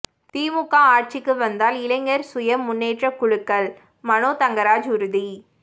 திமுக ஆட்சிக்கு வந்தால் இளைஞர் சுய முன்னேற்ற குழுக்கள்மனோ தங்கராஜ் உறுதி